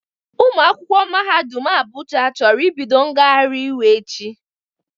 Ụmụ akwụkwọ mahadum Abuja chọrọ ibido ngagharị iwe echi